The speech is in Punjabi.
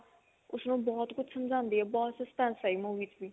ਉਸਨੂੰ ਬਹੁਤ ਕੁੱਝ ਸਮਝਾਂਦੀ ਆ ਬਹੁਤ suspense ਹੈ ਇਹ movie ਚ ਵੀ